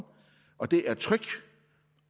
og det er tryg